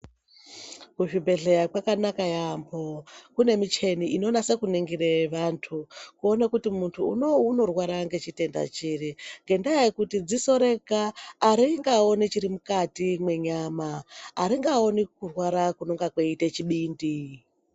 Kuzvibhedhlera kune muchini inonasa kuningira vantu kuona kuti vantu vane chitenda chiri ngendaa yekuti ziso rega aringaoni chiri mukati mwenyama aringaoni kurwara kunenge kuchiita chibindi .